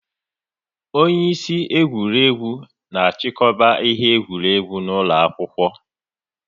Onye isi egwuregwu na achikọba ihe egwuregwu ụlọ akwụkwọ